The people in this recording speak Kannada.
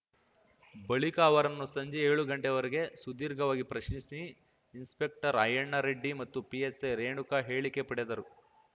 ಬಳಿಕ ಅವರನ್ನು ಸಂಜೆ ಏಳುಗಂಟೆವರೆಗೆ ಸುದೀರ್ಘವಾಗಿ ಪ್ರಶ್ನಿಸಿ ಇನ್ಸ್‌ಪೆಕ್ಟರ್‌ ಅಯ್ಯಣ್ಣ ರೆಡ್ಡಿ ಮತ್ತು ಪಿಎಸ್‌ಐ ರೇಣುಕಾ ಹೇಳಿಕೆ ಪಡೆದರು